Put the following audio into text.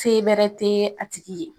Se bɛrɛ te a tigi ye